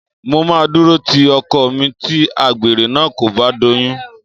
Mo máa dúró ti ọkọ mi tí àgbèrè náà kò bá doyún